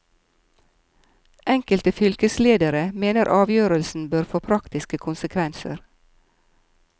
Enkelte fylkesledere mener avgjørelsen bør få praktiske konsekvenser.